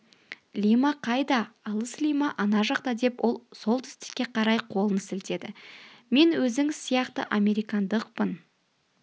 лима қайда алыс лима ана жақта деп ол солтүстікке қарай қолын сілтеді мен өзіңіз сияқты американдықпын